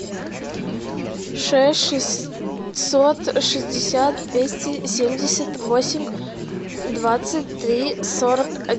шесть шестьсот шестьдесят двести семьдесят восемь двадцать три сорок